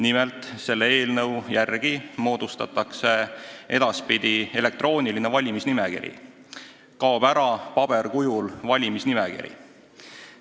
Nimelt, selle eelnõu järgi moodustatakse edaspidi elektrooniline valimisnimekiri, kaob ära paberkujul valimisnimekiri.